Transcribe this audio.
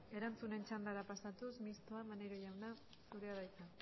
erantzunen txandara pasatuz mistoa maneiro jauna zurea da hitza